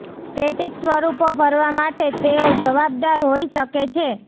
static સ્વરૂપો ભરવા માટે તેઓ જવાબદાર હોઈ શકે છે